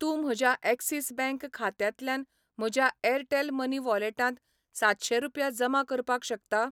तूं म्हज्या Axis bank खात्यांतल्यान म्हज्या एअरटेल मनी वॉलेटांत सातशें रुपया जमा करपाक शकता?